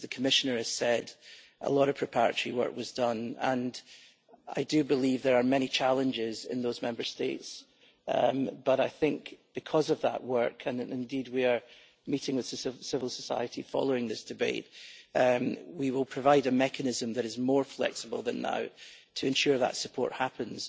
As the Commissioner has said, a lot of preparatory work was done and I do believe there are many challenges in those Member States, but I think that because of that work and indeed we are meeting with civil society following this debate we will provide a mechanism that is more flexible than now to ensure that support happens.